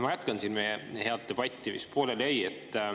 Ma jätkan siin meie head debatti, mis pooleli jäi.